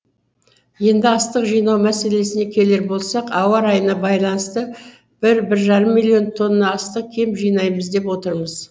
енді астық жинау мәселесіне келер болсақ ауа райына байланыста бір бір жарым миллион тонна астық кем жинаймыз деп отырмыз